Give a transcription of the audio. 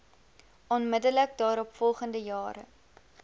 onmiddellik daaropvolgende jare